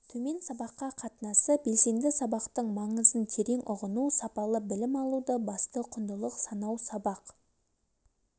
төмен сабаққа қатынасы белсенді сабақтың маңызын терең ұғыну сапалы білім алуды басты құндылық санау сабақ